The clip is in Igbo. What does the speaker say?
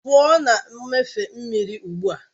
Pụọ na mmịfe mmiri ugbu a!